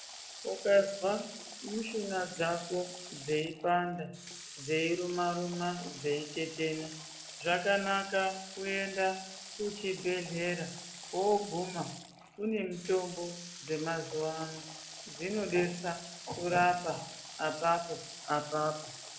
Ukazwa mishuna dzako dzeipanda dzeiruma ruma dzeutetena zvakanaka kuende kuchibhedhlera woguma kune mitombo dzemazuwano dzinodetsa kurapa apapo apapo.